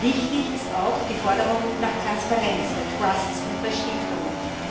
Wichtig ist auch die Forderung nach Transparenz bei Trusts und bei Stiftungen.